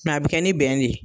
Sinɔn a bi kɛ ni bɛn de ye